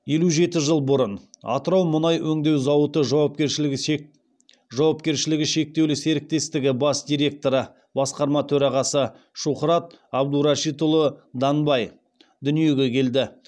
елу жеті жыл бұрын атырау мұнай өңдеу зауыты жауапкершілігі шектеулі серіктестігі бас директоры шухрат абдурашитұлы данбай дүниеге келді